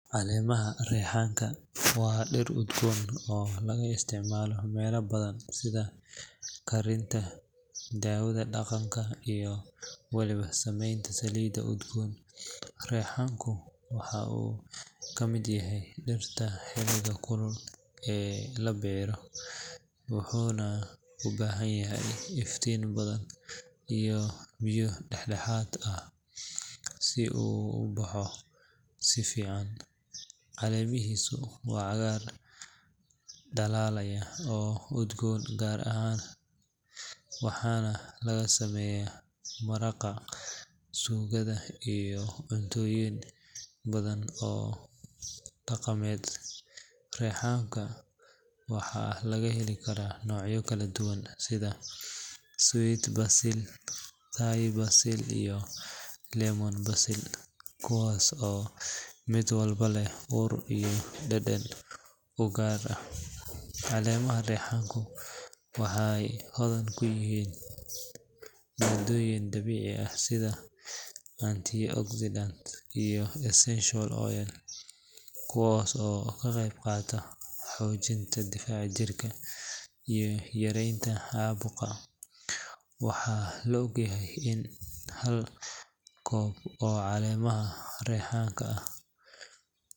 Caleemaha reexanka waa dhir udgoon oo laga isticmaalo meelo badan sida karinta, daawada dhaqanka, iyo waliba samaynta saliidaha udgoon. Reexanku waxa uu ka mid yahay dhirta xilliga kulul ee la beerto, wuxuuna u baahan yahay iftiin badan iyo biyo dhexdhexaad ah si uu u baxo si fiican. Caleemihiisu waa cagaar dhalaalaya oo udgoon gaar ah leh, waxaana laga sameeyaa maraqa, suugada, iyo cuntooyin badan oo dhaqameed. Reexanka waxaa laga heli karaa noocyo kala duwan sida sweet basil, Thai basil iyo lemon basil kuwaas oo mid walba leh ur iyo dhadhan u gaar ah. Caleemaha reexanka waxay hodan ku yihiin maaddooyin dabiici ah sida antioxidants iyo essential oils kuwaas oo ka qayb qaata xoojinta difaaca jirka iyo yareynta caabuqa. Waxaa la og yahay in hal koob oo caleemaha reexan ah.